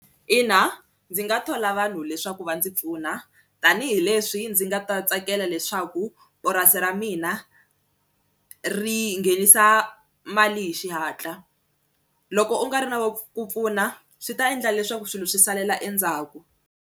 Ina ndzi nga thola vanhu leswaku va ndzi pfuna tanihileswi ndzi nga ta tsakela leswaku purasi ra mina ri nghenisa mali hi xihatla loko u nga ri na wa ku pfuna swi ta endla leswaku swilo swi salela endzhaku.